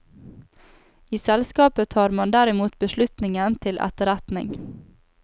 I selskapet tar man derimot beslutningen til etterretning.